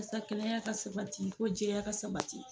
Wasa kɛnɛya ka sabati fo jɛya ka sabati.